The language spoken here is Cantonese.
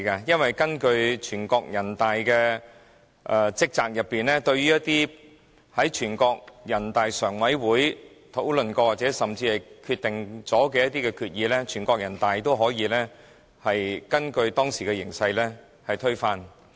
因為根據人大常委會的職責，對於一些在人大常委會討論過，甚至已經決定的決議，人大常委會都可以根據當時的形勢推翻。